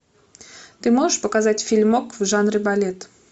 ты можешь показать фильмок в жанре балет